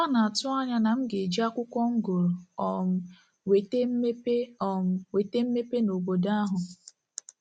Ha na-atụ anya na m ga-eji akwụkwọ m gụrụ um wete mmepe um wete mmepe n'obodo ahụ.